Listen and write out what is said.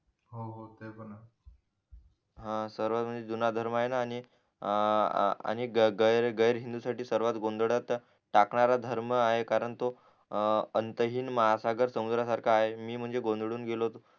हा सर्वात म्हणजे जुना धर्म ये ना आणि आह आणि ग गैर हिंदू साठी सर्वात गोंधळात टाकणारा धर्म आहे कारण तो अह अंतहीन महासागर समुद्रा सारखा आहे मी म्हणजे गोंधळून गेलो होतो